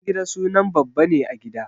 Babangida sunan babba ne a gida.